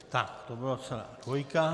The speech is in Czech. Tak to byla celá dvojka.